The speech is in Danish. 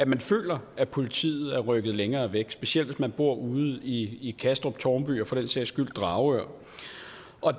man føler at politiet er rykket længere væk specielt hvis man bor ude i kastrup tårnby og for den sags skyld dragør